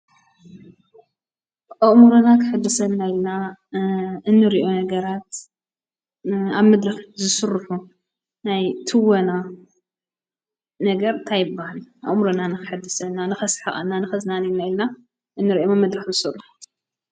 ኣእምሮና ከሕድሰና ኢልና እንሪኦ ነገራት ኣብ መድረኽ ዝስርሑ ናይ ትወና ነገር እንታይ ይባሃል? ኣእምሮና ንከሕድሰና፣ ንከስሕቀና ንከዝናንየና ኢልና እንሪኦም ኣብ መድረኽ ዝስርሑ